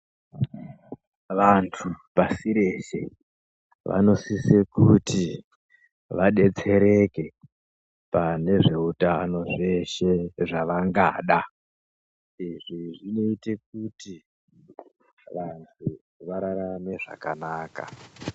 Vantu pasi reshe vanosise kuti vadetsereke pane zveutano zveshe zvavangada, izvi zvinoite kuti vanhu vararame zvakanaka.